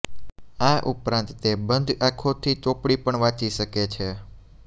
આ ઉપરાંત તે બંધ આંખોથી ચોપડી પણ વાંચી શકે છે